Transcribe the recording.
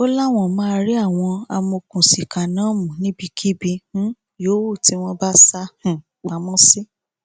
ó láwọn máa rí àwọn amọòkùnsíkà náà mú níbikíbi um yòówù tí wọn bá sá um pamọ sí